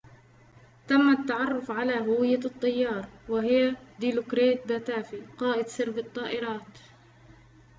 تم التعرف على هوية الطيار وهي ديلوكريت باتافي قائد سرب الطائرات